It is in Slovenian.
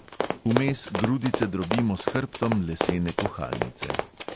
Vmes grudice drobimo s hrbtom lesene kuhalnice.